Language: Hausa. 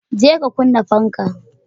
je ka kunna fanka.